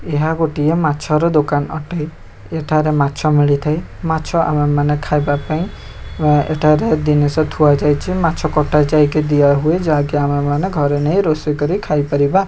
ଏହା ଗୋଟିଏ ମାଛର ଦୋକାନ ଅଟେ ଏଠାରେ ମାଛ ମିଳିଥାଏ ମାଛ ଆଉ ଆମେ ମାନେ ଖାଇବା ପାଇଁ ଏଠାରେ ଜିନିଷ ଥୁଆ ଯାଇଛି ମାଛ କଟା ଯାଇକି ଦିଆ ହୁଏ ଯାହାକି ଆମେ ମାନେ ଘରେ ନେଇ ରୋଷେଇ କରି ଖାଇ ପାରିବା।